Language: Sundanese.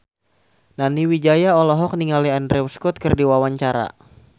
Nani Wijaya olohok ningali Andrew Scott keur diwawancara